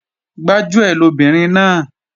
Gbájúẹ̀ lobìnrin náà